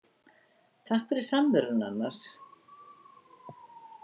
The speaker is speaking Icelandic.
Takk fyrir samveruna, annars.